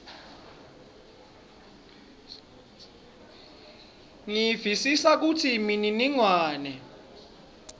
ngiyevisisa kutsi imininingwane